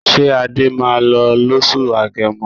Ṣé Adé máa lọ lóṣù Agẹmọ?